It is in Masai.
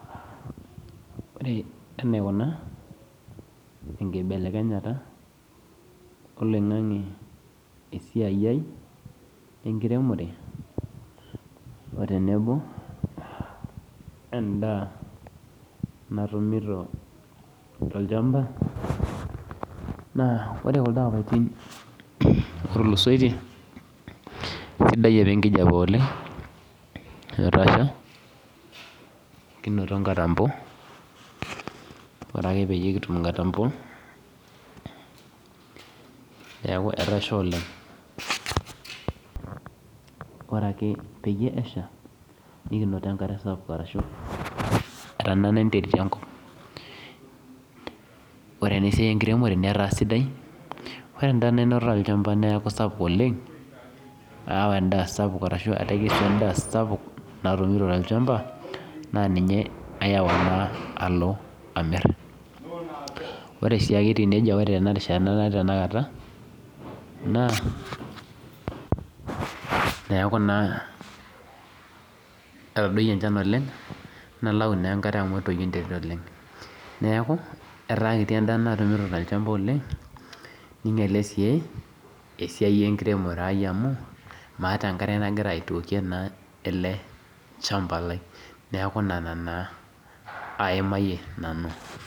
Ore enaikuna enkibelekenyata oloingangi esiai aai enkiremore otenebo endaa natumito tolchamba na ore kuldo apatin otulusotie kesidai apa enkijape oleng etasha kinoto nkatambo neaku etasha oleng ore ake pesha nikinoto enkare sapuk neaku etanana enterit enkop ore esiai enkiremore netaa sidai ,natekesua endaaa sapuk oleng natumito tolchamba nayau na alo amir ore si tenarishata natiu tanakata na neaku na etadoyie enchan oleng nalau na enkare amu etoyio enterit oleng neaku etaa kiti endaa natumito tolchamba oleng ninyale si esiai enkiremore amu maata enkare nagira aitookie eleshamba lai neaku Nona taa aimayie nanu.